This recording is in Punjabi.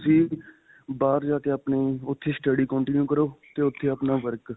ਵੀ ਤੁਸੀਂ ਬਾਹਰ ਜਾ ਕੇ, ਆਪਣੇ ਉੱਥੇ ਹੀ study continue ਕਰੋ ਤੇ ਉੱਥੇ ਹੀ ਆਪਣਾ work.